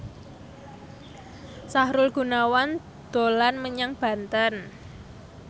Sahrul Gunawan dolan menyang Banten